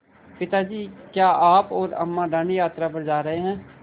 पिता जी क्या आप और अम्मा दाँडी यात्रा पर जा रहे हैं